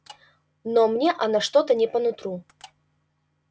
но мне она что-то не по нутру